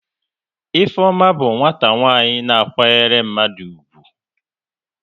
Ifeoma bụ nwata nwaanyị na kwanyere mmadụ ugwu